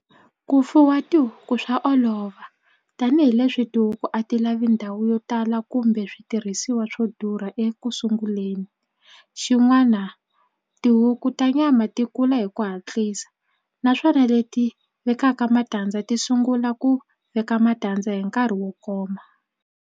Ku fuwa tihuku swa olova tanihileswi tihuku a ti lavi ndhawu yo tala kumbe switirhisiwa swo durha ekusunguleni xin'wana tihuku ta nyama ti kula hi ku hatlisa naswona leti vekaka matandza ti sungula ku veka matandza hi nkarhi wo koma.